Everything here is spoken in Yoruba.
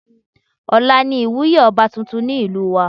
Ọ̀la ni ìwúyé ọba tuntun ìlú wa